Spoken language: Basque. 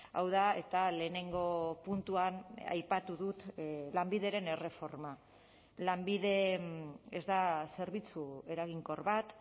hau da eta lehenengo puntuan aipatu dut lanbideren erreforma lanbide ez da zerbitzu eraginkor bat